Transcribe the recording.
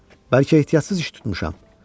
Bəlkə ehtiyatsız iş tutmuşam.